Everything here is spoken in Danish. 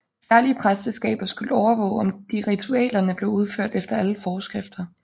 Særlige præsteskaber skulle overvåge om de ritualerne blev udført efter alle foreskrifter